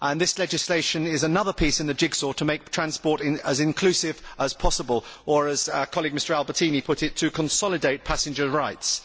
This legislation is another piece in the jigsaw to make transport as inclusive as possible or, as our colleague Mr Albertini put it, to consolidate passenger rights.